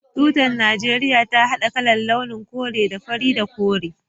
Tutar Najeriya ta hada kalar/launin kore da fari da kore